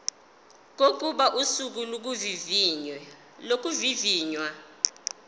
kokuba usuku lokuvivinywa